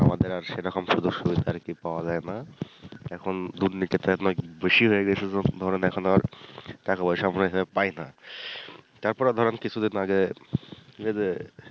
আমাদের আর সেরকম সুযোগ-সুবিধা আর কি পাওয়া যায় না এখন দুর্নীতিটা অনেক বেশি হয়ে গেছে জন্য ধরেন এখন আর টাকা পয়সা পায় না, তারপরে ধরেন কিছুদিন আগে এই যে